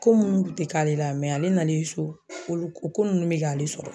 Ko munnu kun te k'ale la mɛ ale nalen so o ko nunnu be k'ale sɔrɔ